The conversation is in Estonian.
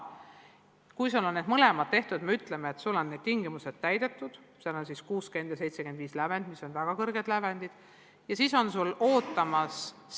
Kui tal on need mõlemad tehtud, kui ta on ületanud lävendi 60 ja 75 punkti – need on väga kõrged lävendid –, siis need saavutused on tal kirjas.